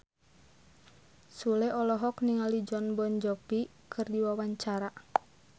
Sule olohok ningali Jon Bon Jovi keur diwawancara